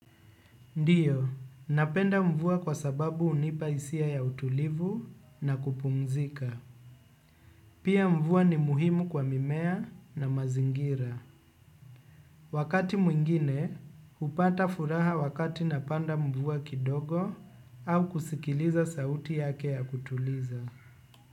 Ndiyo, napenda mvua kwa sababu hunipa isia ya utulivu na kupumzika. Pia mvua ni muhimu kwa mimea na mazingira. Wakati mwingine, hupata furaha wakati napanda mvua kidogo au kusikiliza sauti yake ya kutuliza.